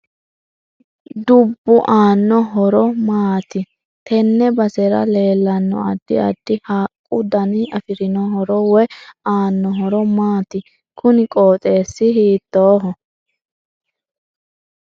Dubbu aano horo horo maati tenne basera leelanno addi addi haaqu dani afirino horo woyi aano horo maati kuni qoxeesi hiitooho